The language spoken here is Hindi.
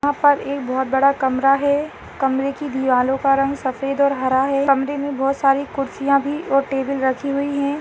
यहाँ पर एक बोहोत बड़ा कमरा है कमरे की दीवालो का रंग सफ़ेद और हरा है कमरे में बहुत सारी कुर्सियां भी और टेबल रखी हुई है।